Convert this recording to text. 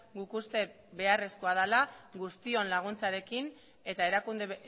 guk uste beharrezkoa dela guztion laguntzarekin eta erakunde